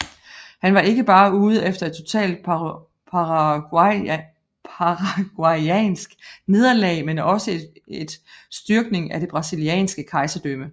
Han var ikke bare ude efter et totalt paraguayansk nederlag men også et styrkning af det brasilianske kejserdømme